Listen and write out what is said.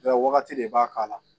Bɛɛ wagati de b'a k'a la